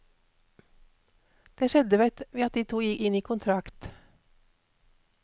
Det skjedde ved at de to inngikk kontrakt.